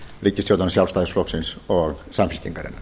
ríkisstjórnar sjálfstæðisflokksins og samfylkingarinnar